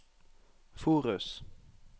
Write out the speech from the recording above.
Forus